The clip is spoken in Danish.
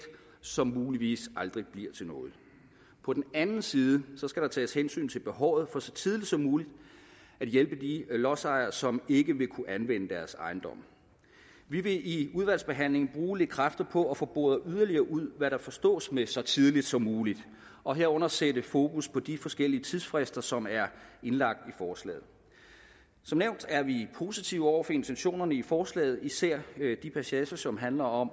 som muligvis aldrig bliver til noget på den anden side skal der tages hensyn til behovet for så tidligt som muligt at hjælpe de lodsejere som ikke vil kunne anvende deres ejendomme vi vil i udvalgsbehandlingen bruge lidt kræfter på at få boret yderligere ud hvad der forstås ved så tidligt som muligt og herunder sætte fokus på de forskellige tidsfrister som er indlagt i forslaget som nævnt er vi positive over for intentionerne i forslaget især de passager som handler om